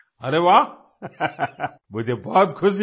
अरे वाह मुझे बहुत खुशी हुई